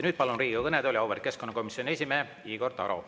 Nüüd palun Riigikogu kõnetooli auväärt keskkonnakomisjoni esimehe Igor Taro.